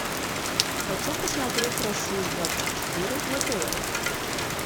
хочу посмотреть россия двадцать четыре на тв